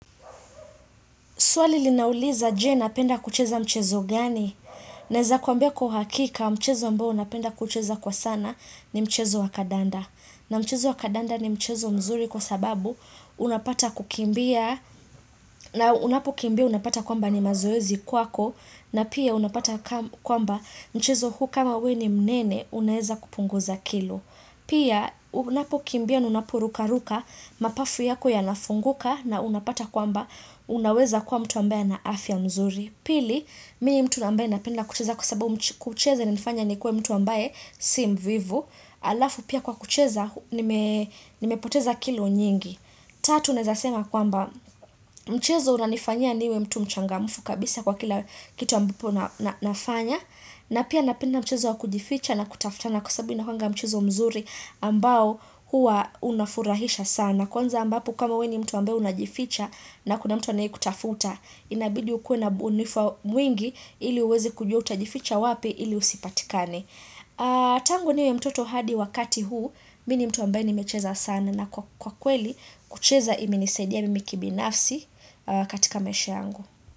Swali linauliza je napenda kucheza mchezo gani? Naeza kwambia kwa uhakika mchezo ambao unapenda kucheza kwa sana ni mchezo wakadanda. Na mchezo wa kadanda ni mchezo mzuri kwa sababu unapata kukimbia na unapokimbia unapata kwamba ni mazoezi kwako na pia unapata kwamba mchezo huu kama we ni mnene unaweza kupunguza kilo. Pia unapokimbia na unaporuka ruka mapafu yako ya nafunguka na unapata kwamba unaweza kuwa mtu ambaye na afya mzuri. Pili, mii mtu ambaye napenda kucheza kusabu mcheza ni nifanya nikuwe mtu ambaye si mvivu. Alafu pia kwa kucheza, nimepoteza kilo nyingi. Tatu, naweza sema kwamba mchezo unanifanya niwe mtu mchangamfu kabisa kwa kila kitu ambapo nafanya. Na pia napenda mchezo wa kujificha na kutaftana kusabu ina kwanga mchezo mzuri ambao hua unafurahisha sana. Kwanza ambapo kama we ni mtu ambaye unajificha na kuna mtu anaye kutafuta. Inabidi ukuwe na ubunifu mwingi ili uweze kujua utajificha wapi ili usipatikane. Tangu niwe mtoto hadi wakati huu, mini mtuwambe ni mecheza sana na kwa kweli kucheza imenisaidia mimi kibinafsi katika maisha yangu.